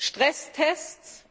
Stresstests